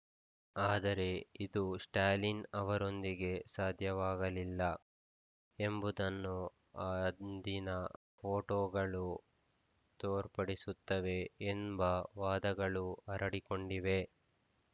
ಆದರೆ ಇದು ಸ್ಟಾಲಿನ್‌ ಅವರೊಂದಿಗೆ ಸಾಧ್ಯವಾಗಳಿಲ್ಲ ಎಂಬುದನ್ನು ಅಂದಿನ ಫೋಟೋಗಳು ತೋರ್ಪಡಿಸುತ್ತವೆ ಎಂಬ ವಾದಗಳು ಹರಡಿಕೊಂಡಿವೆ